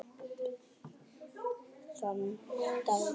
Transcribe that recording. Þann dag rigndi.